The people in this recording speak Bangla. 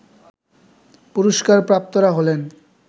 পুরস্কারপ্রাপ্তরা হলেন